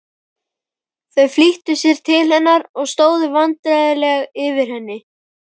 Þau flýttu sér til hennar og stóðu vandræðaleg yfir henni.